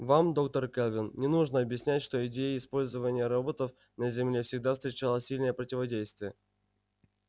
вам доктор кэлвин не нужно объяснять что идея использования роботов на земле всегда встречала сильное противодействие